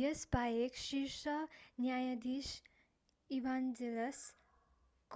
यसबाहेक शीर्ष न्यायाधीश ईभान्जेलस